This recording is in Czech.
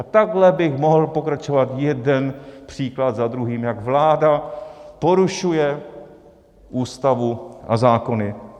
A takhle bych mohl pokračovat jeden příklad za druhým, jak vláda porušuje ústavu a zákony.